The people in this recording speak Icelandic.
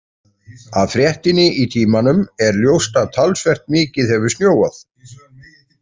Af fréttinni í Tímanum er ljóst að talsvert mikið hefur snjóað.